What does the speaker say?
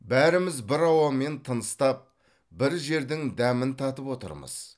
бәріміз бір ауамен тыныстап бір жердің дәмін татып отырмыз